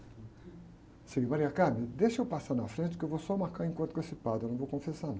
Eu disse, deixa eu passar na frente, que eu vou só marcar um encontro com esse padre, eu não vou confessar não.